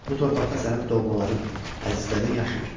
Bu torpaqda sənin doğmaların, əzizlərin yaşayır.